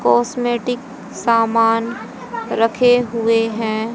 Cosmetic सामान रखे हुए है।